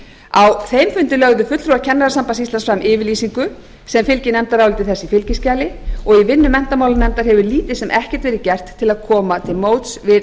þeim fundi lögðu fulltrúar kennarasambands íslands fram yfirlýsingu sem fylgir nefndaráliti þessu í fylgiskjali og í vinnu menntamálanefndar hefur lítið sem ekkert verið gert til að koma til móts við